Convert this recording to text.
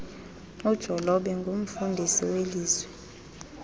ujolobe angurnfundisi welizwi